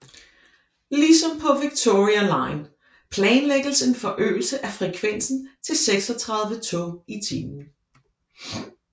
Ligesom på Victoria line planlægges en forøgelse af frekvensen til 36 tog i timen